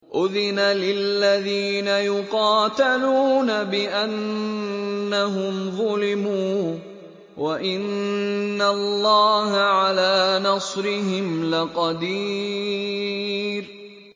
أُذِنَ لِلَّذِينَ يُقَاتَلُونَ بِأَنَّهُمْ ظُلِمُوا ۚ وَإِنَّ اللَّهَ عَلَىٰ نَصْرِهِمْ لَقَدِيرٌ